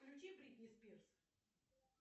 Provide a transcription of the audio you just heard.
включи бритни спирс